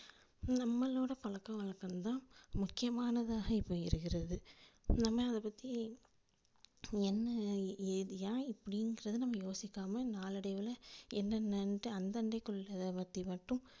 நம்மளோட பழக்கவழக்கங்கள் தான் முக்கியமானதாக இப்போ இருக்கிறது நம்ம அதைப்பத்தி என்ன எதுயா இப்படிங்குறது நம்ம யோசிக்காம நாளடைவில என்னன்னனுட்டு அந்ததைக்குள்ளத பத்தி மட்டும்,